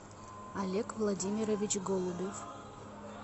олег владимирович голубев